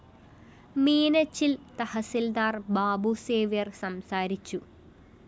മീനച്ചില്‍ തഹസീല്‍ദാര്‍ ബാബു സേവ്യര്‍ സംസാരിച്ചു